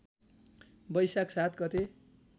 बैशाख ७ गते